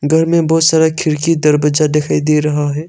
घर में बहुत सारा खिड़की दरवाजा दिखाई दे रहा है।